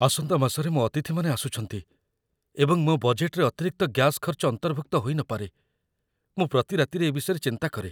ଆସନ୍ତା ମାସରେ ମୋ ଅତିଥିମାନେ ଆସୁଛନ୍ତି, ଏବଂ ମୋ ବଜେଟ୍‌‌‌ରେ ଅତିରିକ୍ତ ଗ୍ୟାସ୍ ଖର୍ଚ୍ଚ ଅନ୍ତର୍ଭୁକ୍ତ ହୋଇନପାରେ ମୁଁ ପ୍ରତି ରାତିରେ ଏ ବିଷୟରେ ଚିନ୍ତା କରେ।